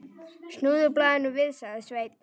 Snúðu blaðinu við, sagði Sveinn.